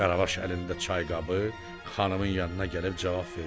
Qaravaş əlində çayqabı, xanımın yanına gəlib cavab verdi.